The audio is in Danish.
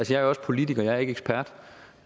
jeg er også politiker jeg er ikke ekspert